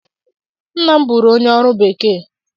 Nna m bụrụ onye ọrụ bekee